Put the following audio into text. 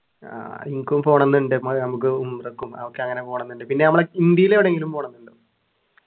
ആഹ് എനിക്കും പോണംന്നുണ്ട് നമുക്ക് ഉംറക്കും അതൊക്കെ അങ്ങനെ പോണംന്നുണ്ട് പിന്നെ നമ്മളെ ഇന്ത്യയിൽ എവിടെങ്കിലും പോണംന്നുണ്ടോ